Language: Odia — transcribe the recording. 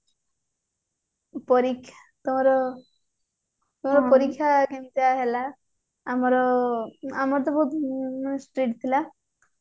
ପରୀକ୍ଷା ତମର ତମର ପରୀକ୍ଷା କେମିତି ହେଲା ଆମର ତ ବହୁତ strict ଥିଲା